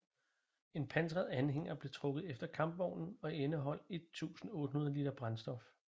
En pansret anhænger blev trukket efter kampvognen og indeholdt 1800 liter brændstof